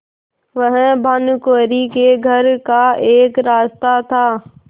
वह भानुकुँवरि के घर का एक रास्ता था